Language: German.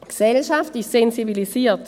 Die Gesellschaft ist sensibilisiert.